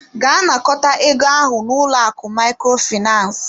Gaa nakọta ego ahụ n'ụlọ akụ Microfinance!